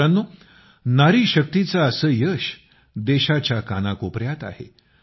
मित्रांनो नारी शक्तीचं असं यश देशाच्या कानाकोपयात आहे